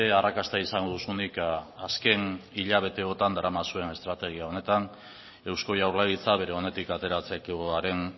arrakasta izango duzunik azken hilabeteotan daramazuen estrategia honetan eusko jaurlaritza bere onetik ateratzekoaren